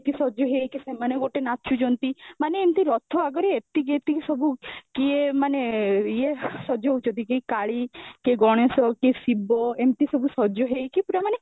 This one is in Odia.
ସଜ ହେଇକି ସେମାନେ ସବୁ ନାଚୁଛନ୍ତି ମାନେ ଏମିତି ରଥ ଆଗରୁ ଏତିକି ଏତିକି ସବୁ କିଏ ମାନେ ୟେ ସଜ ହୋଉଛନ୍ତି କିଏ କଲି କିଏ ଗଣେଶ କିଏ ଶିବ ଏମିତି ସବୁ ସଜ ହେଇକି ପୁରା ମାନେ